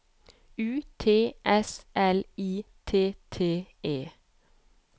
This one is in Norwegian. U T S L I T T E